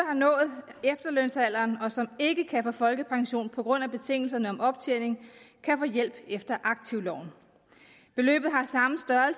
har nået efterlønsalderen og som ikke kan få folkepension på grund af betingelserne om optjening kan få hjælp efter aktivloven beløbet